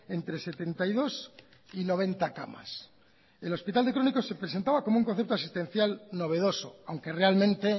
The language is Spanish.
entre setenta y dos y noventa camas el hospital de crónicos se presentaba como un concepto asistencial novedoso aunque realmente